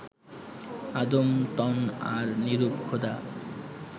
আদম তন আর নিরূপ খোদা